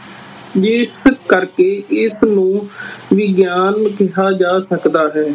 ਜਿਸ ਕਰਕੇ ਇਸਨੂੰ ਵਿਗਿਆਨ ਕਿਹਾ ਜਾ ਸਕਦਾ ਹੈ।